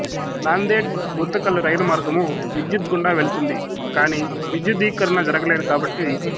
నాందేడ్గుంతకల్ రైలు మార్గము విద్యుత్ గుండా వెళుతుంది కాని విద్యుద్దీకరణ జరగలేదు కాబట్టి